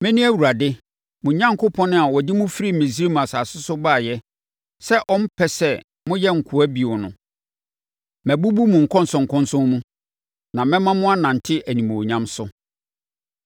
Mene Awurade mo Onyankopɔn a ɔde mo firi Misraim asase so baeɛ sɛ ɔmpɛ sɛ moyɛ nkoa bio no. Mabubu mo nkɔnsɔnkɔnsɔn mu, na mɛma mo anante animuonyam so.